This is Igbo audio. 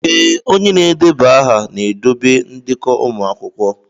Ee, onye na-edeba aha na-edobe ndekọ ụmụ akwụkwọ.